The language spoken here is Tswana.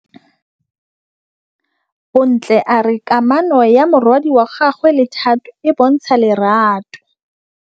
Bontle a re kamanô ya morwadi wa gagwe le Thato e bontsha lerato.